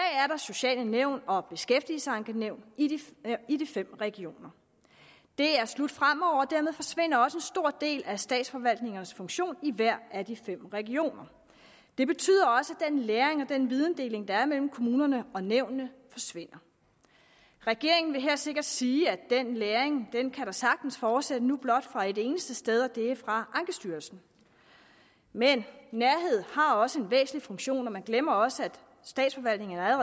sociale nævn og beskæftigelsesankenævn i de fem regioner det er slut fremover og dermed forsvinder også en stor del af statsforvaltningernes funktion i hver af de fem regioner det betyder også at den læring og videndeling der er mellem kommunerne og nævnene forsvinder regeringen vil her sikkert sige at den læring sagtens kan fortsætte nu blot fra et eneste sted og det er fra ankestyrelsen men nærhed har også en væsentlig funktion og man glemmer også at statsforvaltningerne